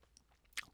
DR K